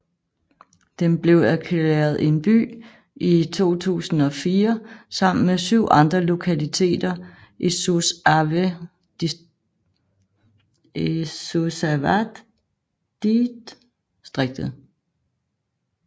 Den blev erklæret en by i 2004 sammen med syv andre lokaliteter i Suceavadidstriktet